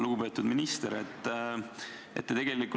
Lugupeetud minister!